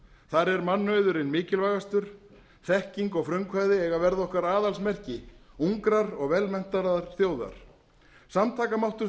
þar er mannauðurinn mikilvægastur þekking og frumkvæði eiga að verða okkar aðalsmerki ungrar og velmenntaðrar þjóðar samtakamáttur